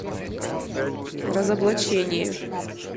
разоблачение